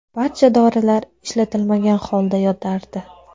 Barcha dorilar ishlatilmagan holda yotardi.